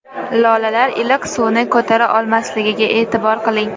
Lolalar iliq suvni ko‘tara olmasligiga e’tibor qiling.